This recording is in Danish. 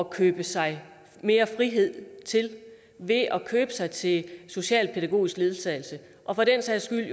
købe sig mere frihed til ved at købe sig til socialpædagogisk ledsagelse og for den sags skyld